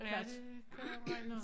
Ja det kunne jeg regne ud